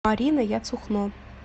марина яцухно